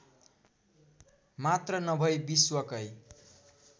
मात्र नभै विश्वकै